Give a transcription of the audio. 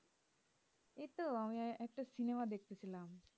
এই তো আমি একটা cinema দেখতে ছিলাম